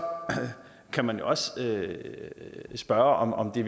kan man jo også spørge om det